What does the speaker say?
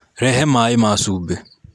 Rehe maĩ ma cumbĩ.